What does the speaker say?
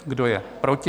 Kdo je proti?